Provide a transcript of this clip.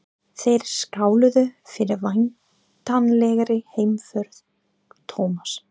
Þeir skáluðu fyrir væntanlegri heimför Thomas.